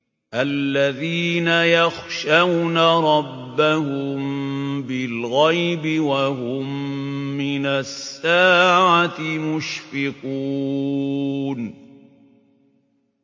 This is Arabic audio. الَّذِينَ يَخْشَوْنَ رَبَّهُم بِالْغَيْبِ وَهُم مِّنَ السَّاعَةِ مُشْفِقُونَ